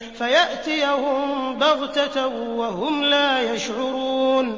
فَيَأْتِيَهُم بَغْتَةً وَهُمْ لَا يَشْعُرُونَ